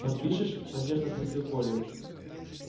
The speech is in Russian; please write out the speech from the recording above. подпишешь с надеждой спросил колин